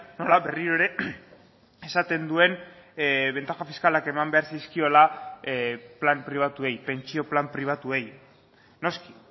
nola berriro ere esaten duen bentaja fiskalak eman behar zizkiola plan pribatuei pentsio plan pribatuei noski